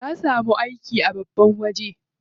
Ya samu aiki a babban waje.